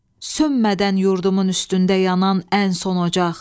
Sönmədən yurdumun üstündə yanan ən son ocaq.